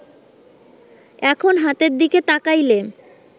এখন হাতের দিকে তাকাইলে